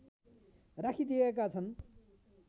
राखिदिएका छन्